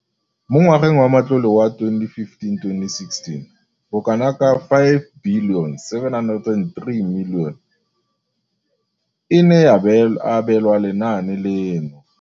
Mo ngwageng wa matlole wa 2015 le 2016, bokanaka R5 703 bilione e ne ya abelwa lenaane leno.